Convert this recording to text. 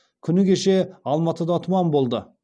күні кеше алматыда тұман болды